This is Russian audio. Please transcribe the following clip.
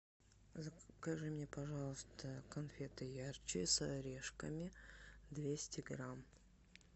закажи мне пожалуйста конфеты ярче с орешками двести грамм